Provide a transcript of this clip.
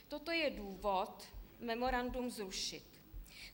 Toto je důvod memorandum zrušit.